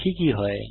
দেখি কি হয়